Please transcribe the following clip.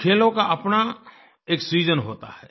कुछ खेलों काअपना एक सीजन होता है